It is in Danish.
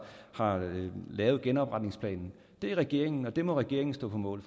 har lavet genopretningsplanen det er regeringen og det må regeringen stå på mål